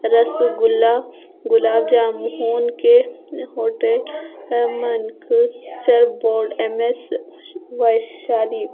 रसगुल्ला गुलाब जामुन के होटल अह board M S Vaishali.